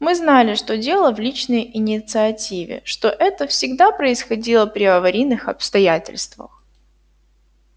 мы знали что дело в личной инициативе что это всегда происходило при аварийных обстоятельствах